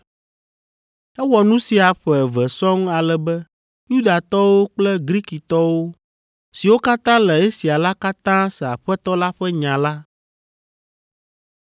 Ewɔ nu sia ƒe eve sɔŋ ale be Yudatɔwo kple Grikitɔ siwo katã le Asia la katã se Aƒetɔ la ƒe nya la.